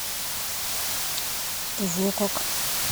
творог